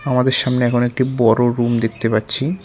আমাদের সামনে এখন একটি বড়ো রুম দেখতে পাচ্ছি।